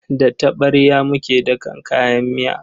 Da taɓarya muke dakan kayan miya.